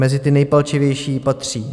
Mezi ty nejpalčivější patří: